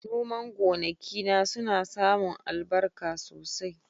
Noman gonakina suna samun albarka sosai.